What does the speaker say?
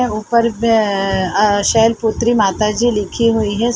ए ऊपर पे अ शैलपुत्री माता जी लिखी हुई है।